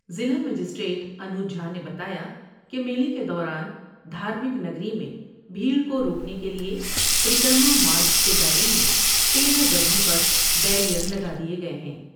ضلع مجسٹریٹ انوج جھانے بتایا کہ میلے کے دوران دھارمک نگری میں بھیٹر کو روکنے کے لئے پریکر ما مارگ کے دائرے میں تیرہ جگہوں پر بیرئر لگا دئے گئے ہیں ۔